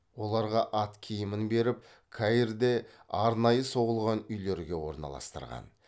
оларға ат киімін беріп каирде арнайы соғылған үйлерге орналастырған